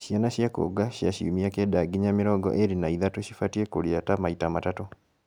ciana cia kuonga cia ciumia kenda nginya mĩrongo ĩĩrĩ na ithatũ cibatiĩ kũrĩa ta maita matatũ